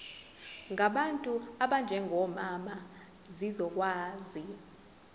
ngabantu abanjengomama zizokwazi